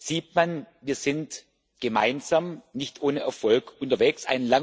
sieht man Wir sind gemeinsam nicht ohne Erfolg unterwegs.